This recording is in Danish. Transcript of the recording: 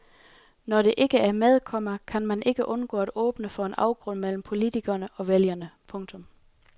Når det ikke er med, komma kan man ikke undgå at åbne for en afgrund mellem politikere og vælgere. punktum